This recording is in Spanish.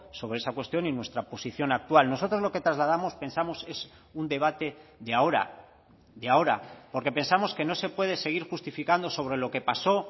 sobre esa cuestión y nuestra posición actual nosotros lo que trasladamos pensamos es un debate de ahora de ahora porque pensamos que no se puede seguir justificando sobre lo que pasó